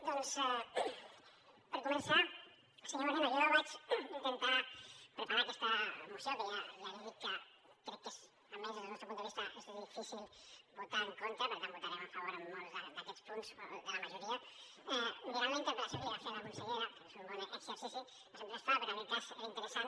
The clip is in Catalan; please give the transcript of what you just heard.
doncs per començar se·nyor moreno jo vaig intentar preparar aquesta moció que ja li dic que crec que és almenys des del nostre punt de vista difícil votar·hi en contra per tant votarem a favor en molts d’aquests punts de la majoria mirant la interpel·lació que li va fer a la consellera crec que és un bon exercici que sempre es fa però en aquest cas era interessant